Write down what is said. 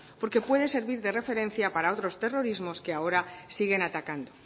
porque puede servir de referencia para otros terrorismos que siguen atacando